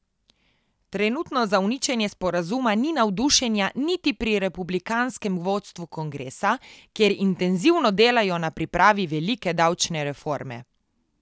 Trenutno za uničenje sporazuma ni navdušenja niti pri republikanskem vodstvu kongresa, kjer intenzivno delajo na pripravi velike davčne reforme.